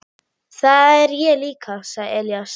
Það er ég líka, sagði Elías.